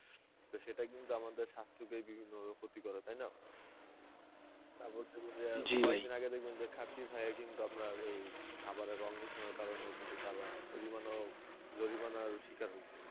তো সেটা কিন্তু আমাদের স্বাস্থকে বিভিন্ন ভাবে ক্ষতি করে তাই না তারপর দেখবেন যে কয়েকদিন আগে দেখবেন যে কিন্তু আপনার এই খাবারে রং মেশানোর কারণে কিন্তু তারা জরিমানাও জরিমানার শিকার হয়েছে